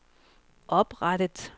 oprettet